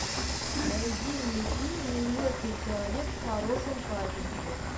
найди мне фильм неуместный человек в хорошем качестве